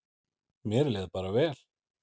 Mér leið bara vel.